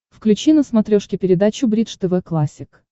включи на смотрешке передачу бридж тв классик